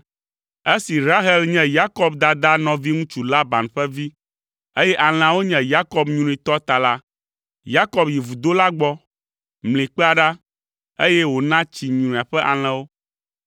Esi Rahel nye Yakob dadaa nɔviŋutsu Laban ƒe vi, eye alẽawo nye Yakob nyrui tɔ ta la, Yakob yi vudo la gbɔ, mli kpea ɖa, eye wòna tsi nyruia ƒe alẽwo.